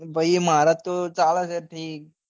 ભાઈ મારે તો ચાલે છે ઠીક